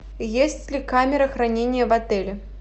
есть ли камера хранения в отеле